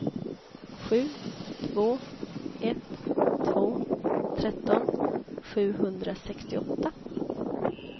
sju två ett två tretton sjuhundrasextioåtta